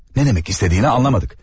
Nə demək istədiyini anlamadıq.